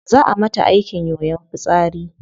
Zaa a mata aikin yoyon fitsari